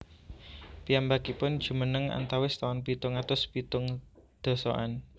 Piyambakipun jumeneng antawis taun pitung atus pitung dasaan